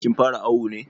Kin fara awu ne.